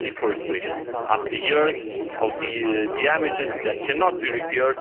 deforestation after years of damages that cannot be repaired.